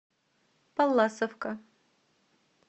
палласовка